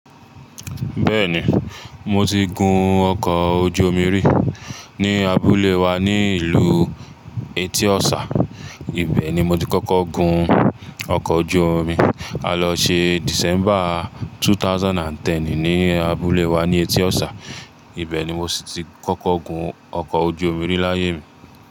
Bẹ́ẹ̀ni, mo ti gun ọkọ̀ ojú omi rí ní abúlé wa ní ìlú Etiọ́sà. Ibẹ̀ ni mo ti kọ́kọ́ gun ọkọ̀ ojú omi. A lọ ṣe December 2010 ní abúlé wa ní Etiọ́sà. Ibẹ̀ ni mo si ti kọ́kọ́ gun ọkọ̀ ojú omi rí láyé mi.